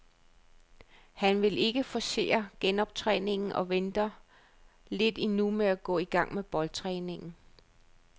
Han vil ikke forcere genoptræningen og venter lidt endnu med at gå i gang med boldtræningen.